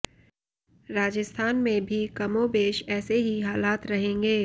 राजस्थान में भी कमोबेश ऐसे ही हालात रहेंगे